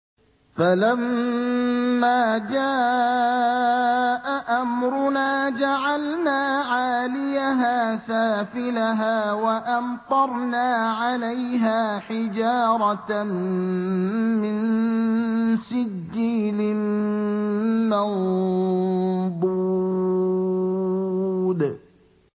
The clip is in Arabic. فَلَمَّا جَاءَ أَمْرُنَا جَعَلْنَا عَالِيَهَا سَافِلَهَا وَأَمْطَرْنَا عَلَيْهَا حِجَارَةً مِّن سِجِّيلٍ مَّنضُودٍ